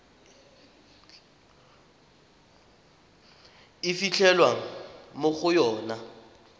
e fitlhelwang mo go yona